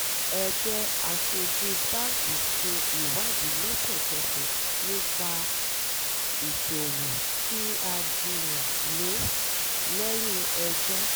ẹgbẹ́ aṣojú báńkì ṣe ìwádìí lẹ́sẹ̀kẹsẹ̀ nípa ìṣòwò tí a jiyàn lé lẹ́yìn ẹjọ́